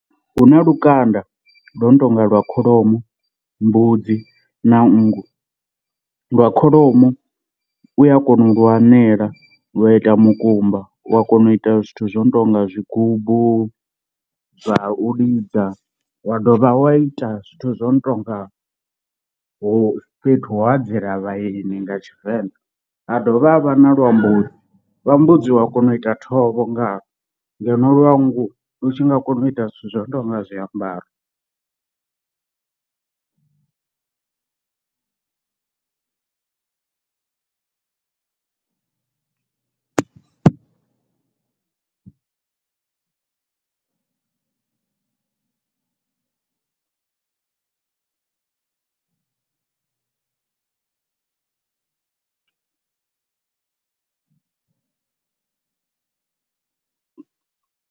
Hu na lukanda lwo no tonga lwa kholomo, mbudzi na nngu. Lwa kholomo u a kona u lu anela lwa ita mukumba wa kona u ita zwithu zwo no tonga zwigubu zwa u lidza wa dovha wa ita zwithu zwo no tonga ho fhethu hau adzela vhaeni nga Tshivenḓa. Ha dovha ha vha na lwa mbudzi, lwa mbudzi u a kona u ita thovho ngawo ngeno lwa nngu lu tshi nga kona u ita zwithu zwo no tou nga zwiambaro.